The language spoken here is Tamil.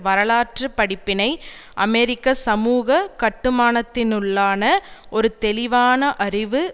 வரலாற்று படிப்பினை அமெரிக்க சமூக கட்டுமானத்தினுள்ளான ஒரு தெளிவான அறிவு